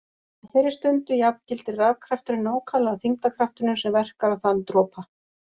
Á þeirri stundu jafngildir rafkrafturinn nákvæmlega þyngdarkraftinum sem verkar á þann dropa.